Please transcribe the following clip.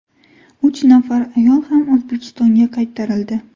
Uch nafar ayol ham O‘zbekistonga qaytarildi.